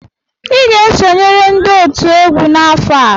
Ị ga-esonyere ndị otu egwu n'afọ a!